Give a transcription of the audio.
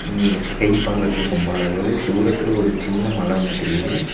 இது ஸ்கை பாக்குறதுக்கு ரொம்ப அழகா இரு தூரத்துல ஒரு சின்ன மல ஒன்னு தெரியுது.